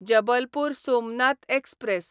Jabalpur Somnath express